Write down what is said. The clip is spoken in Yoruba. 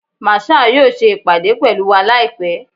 Marshal yoo ṣe ipade pẹlu wa laipẹ